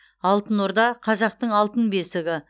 алтын орда қазақтың алтын бесігі